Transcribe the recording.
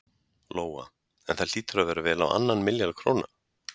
Lóa: En það hlýtur að vera vel á annan milljarð króna?